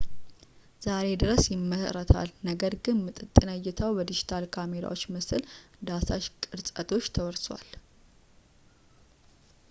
ዛሬ ድረስ ይመረታል ነገር ግን ምጥጥነ ዕይታው በዲጂታል ካሜራዎች ምስል ዳሳሽ ቅርጸቶች ተወርሷል